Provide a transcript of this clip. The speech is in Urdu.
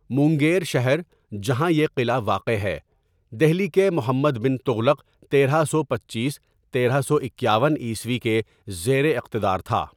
مونگیر شہر جہاں یہ قلعہ واقع ہے، دہلی کے محمد بن تغلق تیرہ سو پنچیس تیرہ سو اکیاون عیسوی کے زیر اقتدار تھا.